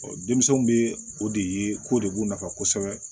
denmisɛnw bɛ o de ye ko de b'u nafa kosɛbɛ